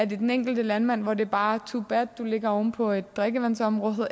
det den enkelte landmand hvor det bare er too bad at du ligger oven på et drikkevandsområde